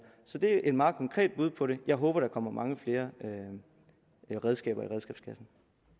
så det er et meget konkret bud på det jeg håber der kommer mange flere redskaber i redskabskassen